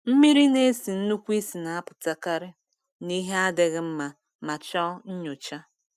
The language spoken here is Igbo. Mmiri na-esi nnukwu ísì na-apụtakarị na ihe adịghị mma ma chọọ nyocha.